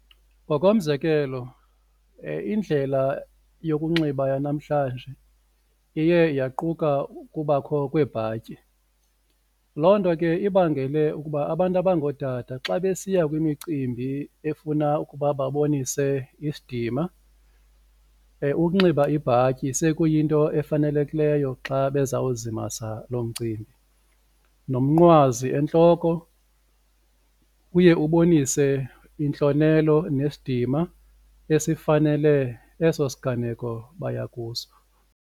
Ngokomzekelo, indlela yokunxiba yanamhlanje iye yaquka ukubakho kweebhatyi. Loo nto ke ibangele ukuba abantu abangotata xa besiya kwimicimbi efuna ukuba babonise isidima ukunxiba ibhatyi sekuyinto efanelekileyo xa bezawuzimasa loo mcimbi. Nomnqwazi entloko uye ubonise intlonelo nesidima esifanele eso siganeko baya kuso.